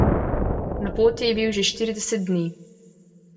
Na poti je bil že štirideset dni.